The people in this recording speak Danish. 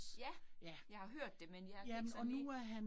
Ja, jeg har hørt det, men jeg ikke sådan helt